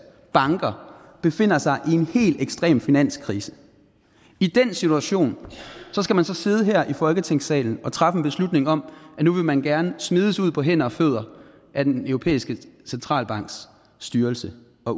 banker befinder sig i en helt ekstrem finanskrise i den situation skal man så sidde her i folketingssalen og træffe en beslutning om at nu vil man gerne smides ud på hænder og fødder af den europæiske centralbanks styrelsesråd og